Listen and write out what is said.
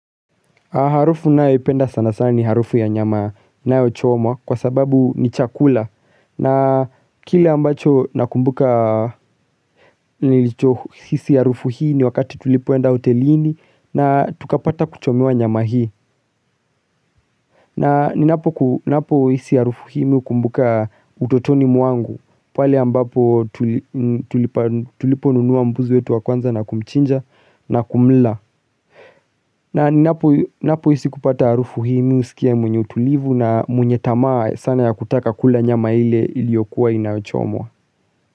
Harufu nayo ipenda sana sana ni harufu ya nyama inayochomwa kwa sababu ni chakula na kile ambacho nakumbuka nilicho hisi harufu hii ni wakati tulipoenda hotelini na tukapata kuchomewa nyama hii. Na ninapo hisi harufu hii mimi hukumbuka utotoni mwangu pale ambapo tuli tulipo nunua mbuzi wetu wa kwanza na kumchinja na kumla na ninapo hisi kupata harufu hii mimi husikia mwenye utulivu na mwenye tamaa sana ya kutaka kula nyama ile iliyokuwa inachomwa.